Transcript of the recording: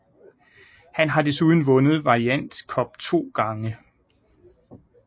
Han har desuden vundet variant cup to gange